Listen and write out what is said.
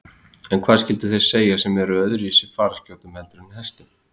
En hvað skyldu þeir segja sem eru á öðruvísi fararskjótum heldur en hestum?